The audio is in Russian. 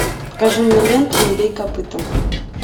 покажи мне ленту не бей копытом